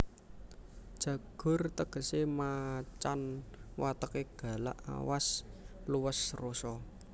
Jagur tegesé macan wateké galak awas luwes rosa